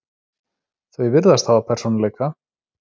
Þau virðast hafa persónuleika.